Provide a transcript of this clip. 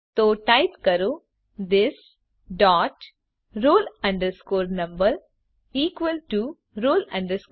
તો ટાઈપ કરો this dot roll number equal to roll number